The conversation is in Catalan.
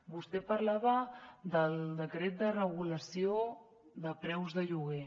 vostè parlava del decret de regulació de preus de lloguer